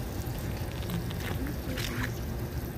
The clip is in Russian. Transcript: дмитрию анисимову